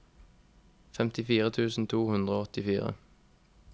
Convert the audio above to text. femtifire tusen to hundre og åttifire